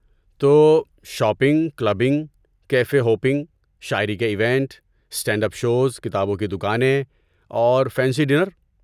تو، shopping, clubbing, cafe hopping, شاعری کے ایونٹ، اسٹینڈ اپ شوز، کتابوں کی دکانیں، اور فینسی ڈینر۔